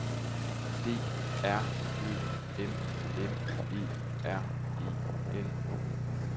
D R Ø M M E R E N